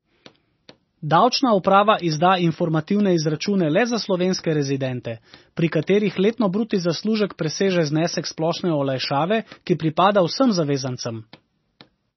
Davčna uprava izda informativne izračune le za slovenske rezidente, pri katerih letni bruto zaslužek preseže znesek splošne olajšave, ki pripada vsem zavezancem.